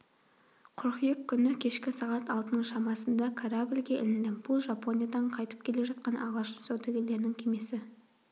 қыркүйек күні кешкі сағат алтының шамасында корабльге іліндім бұл жапониядан қайтып келе жатқан ағылшын саудагерлерінің кемесі